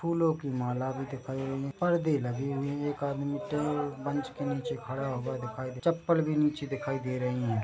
फ़ूलो की माला भी दिख रही है पर्दे लगे हुए है एक आदमी टे मंच के नीचे खड़ा हुआ दिखाई दे रहा चप्पल भी नीचे दिखाई दे रही हैं।